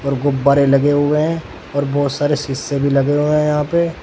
गुब्बारे लगे हुए हैं और बहुत सारे शीशे भी लगे हुए हैं यहां पे।